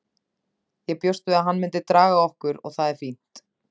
Ég bjóst við að hann myndi draga okkur og það er fínt.